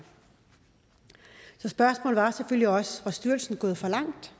så spørgsmålet var selvfølgelig også var styrelsen gået for langt